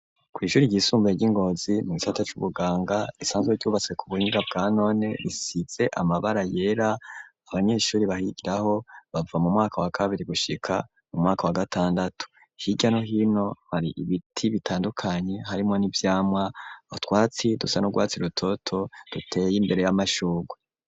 Kw' ishuri ryisumbuye ry'i ngozi mu gisata c'ubuganga risanzwe ryubatswe ku buhinga bwa none risize amabara yera abanyeshuri baryigako bava mu mwaka wa kabiri gushika mu mwaka wa gatandatu hirya no hino hari ibiti bitandukanye harimwo n'ivyamwa, utwatsi dusa n'urwatsi rutoto duteye imbere y'amashurwe.